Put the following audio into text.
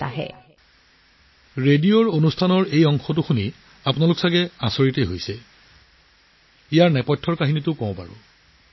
এই ৰেডিঅ' অনুষ্ঠানটো শুনি আপুনিও আচৰিত হৈছিল গতিকে ইয়াৰ আঁৰৰ গোটেই কথাটো কওঁ আহক